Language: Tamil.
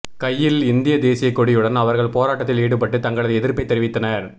கையில் இந்திய தேசிய கொடியுடன் அவர்கள் போராட்டத்தில் ஈடுபட்டு தங்களது எதிர்ப்பை தெரிவித்தனர்